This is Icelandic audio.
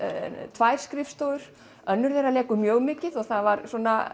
tvær skrifstofur önnur lekur mjög mikið og það var